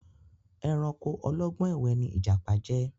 Ẹranko ọlọ́gbọ́n ẹ̀wẹ ni ìjàpá jẹ́.